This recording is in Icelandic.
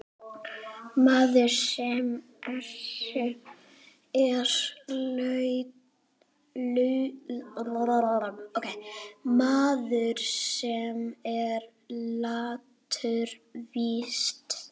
Maður, sem er latur víst.